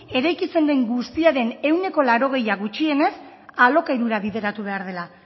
eraikitzen den guztiaren ehuneko laurogeita hamara gutxienez alokairura bideratu behar dela